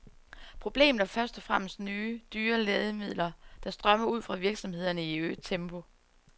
Problemet er først og fremmest nye, dyre lægemidler, der strømmer ud fra virksomhederne i øget tempo.